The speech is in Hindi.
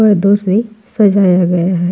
पर्दों से सजाया गया है।